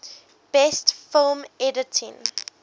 best film editing